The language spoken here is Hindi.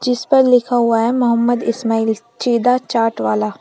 जिस पर लिखा हुआ है मोहम्मद इस्माइल छिदा चाट वाला।